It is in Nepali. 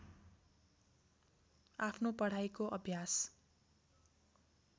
आफ्नो पढाइको अभ्यास